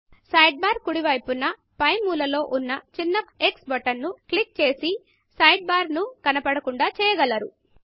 side బార్కుడి వైపున పై మూల లో ఉన్న చిన్న x బటన్ ను క్లిక్క్ చేసి సైడ్ బార్ ను కనపడకుండా చేయగలరు